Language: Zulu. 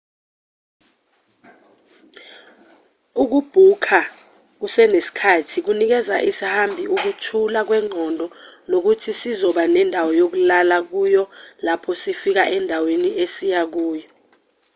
ukubhukha kusenesikhathi kunikeza isihambi ukuthula kwengqondo kokuthi sizoba nendawo yokulala kuyo lapho sifika endaweni esiya kuyo